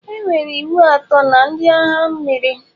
Enwere iwu atọ na ndị agha mmiri.